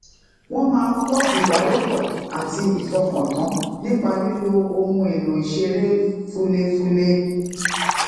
wón máa ń ko ibarepo ati ifọkàntan nipa lilo ohun elo ìṣeré fulefule